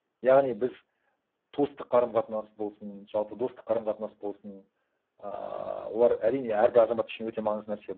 яғни біз туыстық қарым қатынас болсын жалпы достық қарым қатынас болсын ыыы олар әрине әрбір азамат үшін өте маңызды нәрсе